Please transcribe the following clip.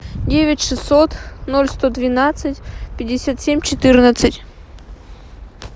девять шестьсот ноль сто двенадцать пятьдесят семь четырнадцать